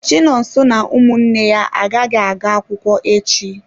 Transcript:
Chinonso na ụmụnne ya agaghị aga akwụkwọ echi.